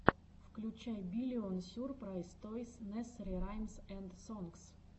включай биллион сюрпрайз тойс несери раймс энд сонгс